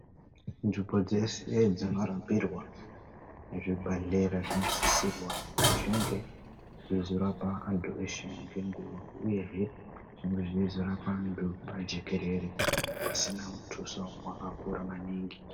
Nzvimbo dzese dzinorapirwa muzvibhedhlera zvinosisirwa kuti zvinge zveizorapa anthu eshe ngenguwa, uyezve zvinge zveizorapa antu pajekerere pasina mutuso wakakura maningi.